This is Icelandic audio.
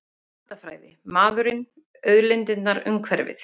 Landafræði- maðurinn, auðlindirnar, umhverfið.